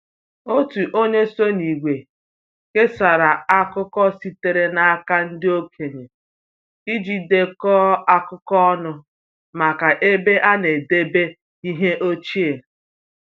Otu onye so n’ìgwè kesara akụkọ sitere n’aka ndị okenye iji dekọọ akụkọ ọnụ maka ebe a na-edebe ihe ochie